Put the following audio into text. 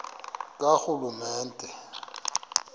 karhulumente